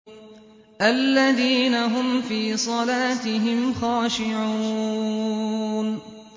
الَّذِينَ هُمْ فِي صَلَاتِهِمْ خَاشِعُونَ